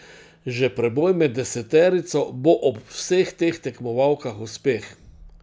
Že preboj med deseterico bo ob vseh teh tekmovalkah uspeh.